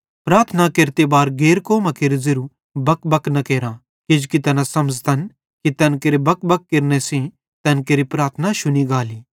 प्रार्थना केरते बार गैर कौमां केरू ज़ेरू बकबक न केरां किजोकि तैना समझ़तन कि तैन केरे बकबक केरने सेइं तैन केरि प्रार्थना शुनी गाली